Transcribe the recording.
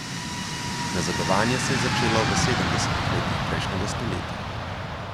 Nazadovanje se je začelo v sedemdesetih letih prejšnjega stoletja.